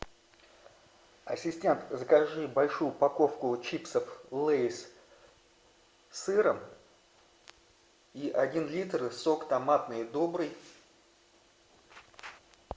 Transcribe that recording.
ассистент закажи большую упаковку чипсов лейс с сыром и один литр сок томатный добрый